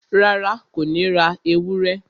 Rárá, Kò ní ra ewúrẹ́